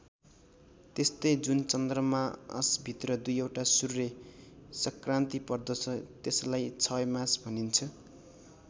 त्यस्तै जुन चन्द्रमासभित्र २ वटा सूर्य सङ्क्रान्ति पर्दछ त्यसलाई क्षयमास भनिन्छ।